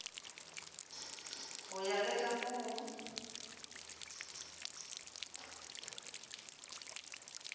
go ya le ka moo